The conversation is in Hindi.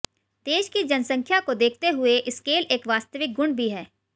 देश की जनसख्यां को देखते हुए स्केल एक वास्तविक गुण भी है